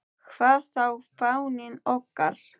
Hvað þá fáninn okkar.